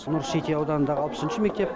нұр сити ауданындағы алпысыншы мектеп